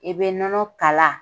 I bɛ nɔnɔ kala